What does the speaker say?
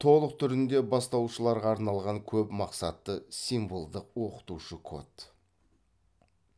толық түрінде бастаушыларға арналған көп мақсатты символдық оқытушы код